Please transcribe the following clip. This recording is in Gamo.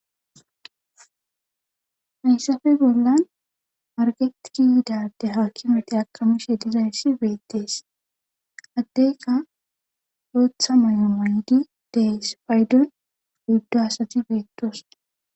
hayssafe bollan marketiki yidade haakimati akamishe dizayssi beettees addeyka ootha may7o mayydi dees paydon guddo asati beettos